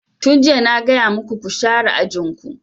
Tun jiya na gaya maku ku share ajin ku!